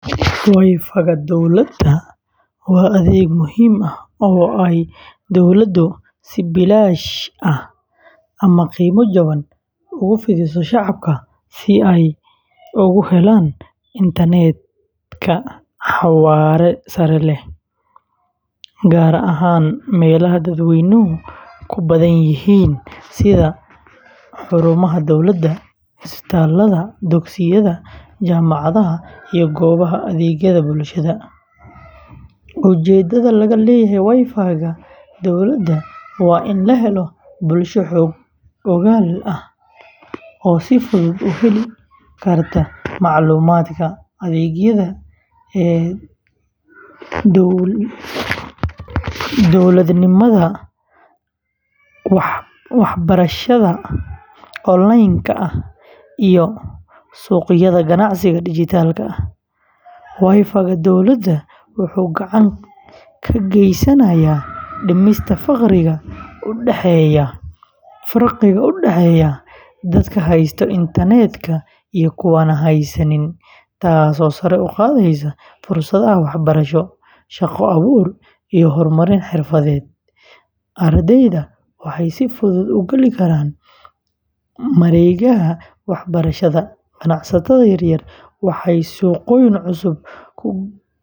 WiFi-ga dowladda waa adeeg muhiim ah oo ay dowladdu si bilaash ah ama qiimo jaban ugu fidiso shacabka si ay ugu helaan internet-ka xawaare sare leh, gaar ahaan meelaha dadweynuhu ku badan yihiin sida xarumaha dowladda, isbitaalada, dugsiyada, jaamacadaha, iyo goobaha adeegyada bulshada. Ujeedada laga leeyahay WiFi-ga dowladda waa in la helo bulsho xog-ogaal ah oo si fudud u heli karta macluumaadka, adeegyada e-dowladnimada sida e-Citizen, waxbarashada online-ka ah, iyo suuqyada ganacsiga dhijitaalka ah. WiFi-ga dowladda wuxuu gacan ka geysanayaa dhimista farqiga u dhexeeya dadka haysta internet-ka iyo kuwa aan haysan, taasoo sare u qaadaysa fursadaha waxbarasho, shaqo-abuur, iyo horumarin xirfadeed. Ardayda waxay si fudud u geli karaan mareegaha waxbarashada, ganacsatada yaryar waxay suuqyo cusub ku gaari karaan.